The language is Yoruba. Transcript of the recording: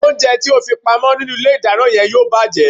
Oúnjẹ tí o fi pa mọ́ nínú ilé ìdáná náà yóò bàjẹ́